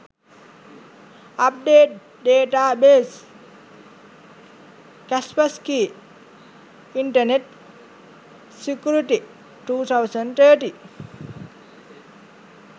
update database kaspersky internet security 2013